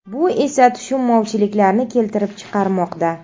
Bu esa tushunmovchiliklarni keltirib chiqarmoqda.